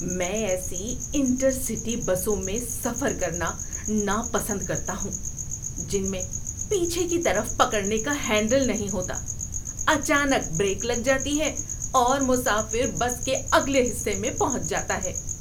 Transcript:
میں ایسی intercity بسوں میں سفر کرنا ناپسند کرتا ہوں، جن میں پیچھے کی طرف پکڑنے کا ہینڈل نہیں ہوتا۔ اچانک بریک لگ جاتی ہے اور مسافر بس کے اگلے حصے میں پہنچ جاتا ہے۔